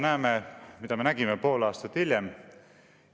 " Ja mida me nägime pool aastat hiljem?